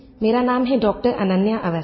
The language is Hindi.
मेरा नाम है डॉक्टर अनन्या अवस्थी